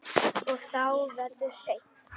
Og þá verður hreint.